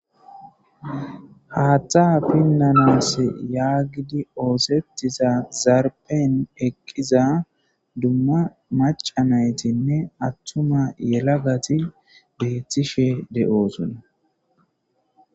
haattha pinnanas yaagidi oosettiza zarpen eqqiza dumma macanaytinne attuma yelagati beethishe de7oosuna